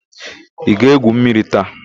Ị ga-égwù mmiri taa?